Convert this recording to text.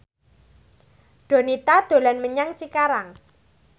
Donita dolan menyang Cikarang